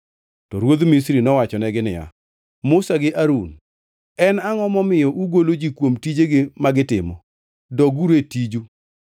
To ruodh Misri nowachonegi niya, “Musa gi Harun, en angʼo momiyo ugolo ji kuom tijegi ma gitimo? Doguru e tiju!”